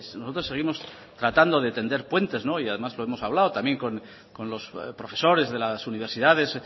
nosotros seguimos tratando de tender puentes y además lo hemos hablado también con los profesores de las universidades